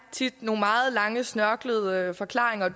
tit nogle meget lange snørklede forklaringer